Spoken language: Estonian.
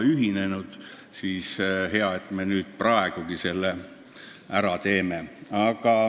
Aga hea, et me viimaks selle ikka ära teeme.